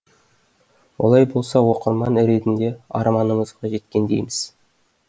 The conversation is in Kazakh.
олай болса оқырман ретінде арманымызға жеткендейміз